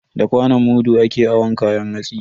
Da kwanon mudu ake awon kayan hatsi.